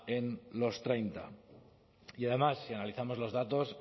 en los treinta y además si analizamos los datos